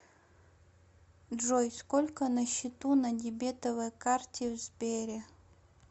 джой сколько на счету на дебетовой карте в сбере